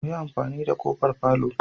Muyi amfani da kofar palour?